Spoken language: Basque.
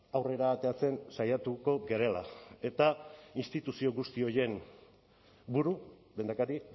aurrera ateratzen saiatuko garela eta instituzio guzti horien buru lehendakari